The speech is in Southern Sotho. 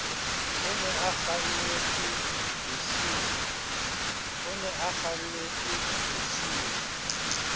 o ne a kwalletswe bosiung